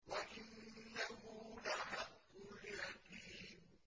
وَإِنَّهُ لَحَقُّ الْيَقِينِ